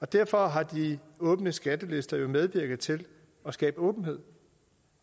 derfor har de åbne skattelister jo medvirket til at skabe åbenhed